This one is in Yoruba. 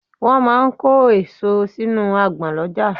Wọ́n máa ń kó èso sínú agbọ̀n lọ́jà.